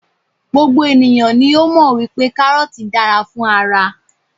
gbogbo eniyan ni o mọ wipe karọọti dára fún ara